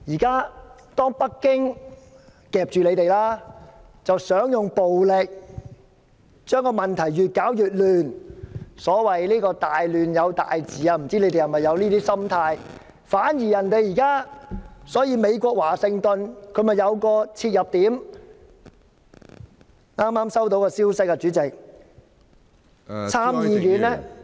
現在北京夾住你們，想用暴力把問題越搞越亂，所謂"大亂有大治"，不知道你們是否有這種心態，反而現在美國華盛頓有了切入點，我剛剛收到消息，參議院......